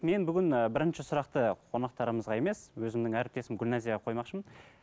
мен бүгін ыыы бірінші сұрақты қонақтарымызға емес өзімнің әріптесім гүлназияға қоймақшымын